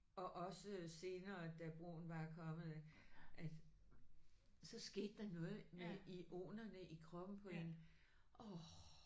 Og også senere da broen var kommet at så skete der noget med ionerne i kroppen på en åh